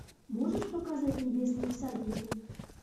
можешь показать небесные всадники